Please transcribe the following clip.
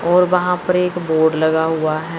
और वहां पर एक बोर्ड लगा हुआ है।